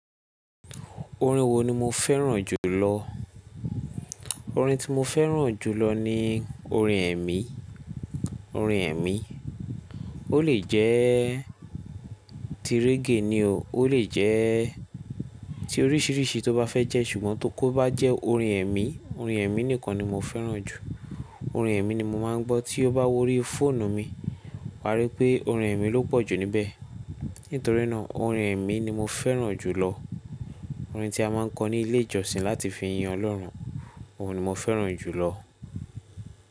Orin wo ni mo fẹ́ràn jùlọ? Orin tí mo fẹ́ràn jùlọ ni orin ẹ̀mí, orin ẹ̀mí. Ó lè jẹ́ ti reggae ni o, ó lè jẹ́ ti oríṣiríṣi tó bá fẹ́ jẹ́ ṣùgbọ́n tó kọ bá jẹ́ orin ẹ̀mí, orin ẹ̀mí nìkan ni mo fẹ́ràn jù. Orin ẹ̀mí ni mo máa ń gbọ́ tí ó bá wọrí fóònù mi. Wá rí i pé orin ẹ̀mí ló pọ̀jù níbẹ̀. Nítorí náà orin ẹ̀mí ni mo fẹ́ràn jùlọ. Orin tí a máa ń kọ ní ilé ìjọsìn láti fi yan Ọlọ́run, òun ni mo fẹ́ràn jùlọ.